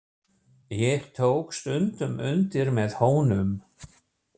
Ég tók stundum undir með honum.